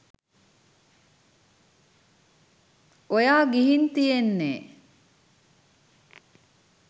ඔයා ගිහින් තියෙන්නෙ